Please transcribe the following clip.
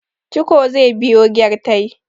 ciko zai biyo gyartai